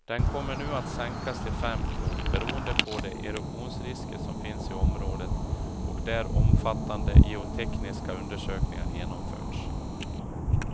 Den kommer nu att sänkas till fem knop beroende på de erosionsrisker som finns i området och där omfattande geotekniska undersökningar genomförts.